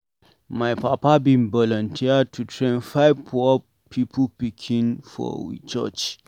My papa bin volunteer to train Five poor pipu pikin for we church.